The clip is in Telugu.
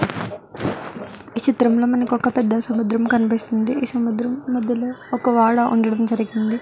ఈ చిత్రం లో మనకి ఒక పెద్ద సముద్ర కనిపిస్తుంది ఈ సముద్రంలో మధ్యలో ఒక వాడ ఉండడం జరిగింది.